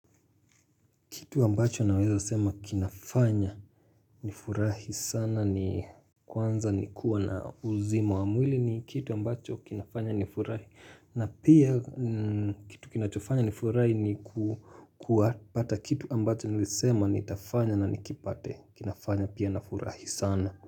Kitu ambacho nawaza sema kinafanya nifurahi sana ni kwanza ni kuwa na uzima wa mwili ni kitu ambacho kinafanya nifurahi na pia kitu kinafanacho nifurahi ni kuwa kupata kitu ambacho nisema nitafanya na nikipate kinafanya pia nifurahi sana.